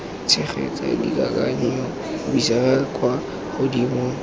tshegetsa dikakanyo buisetsa kwa godimo